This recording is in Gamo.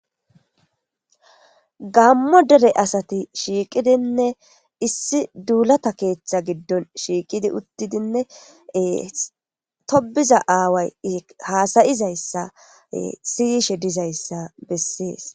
gammo dere asati shiiqidinne issi duulata keeththa giddon shiiqidi uttidinne tobiza aaway haasayizayssa siyishe dizayssa bessees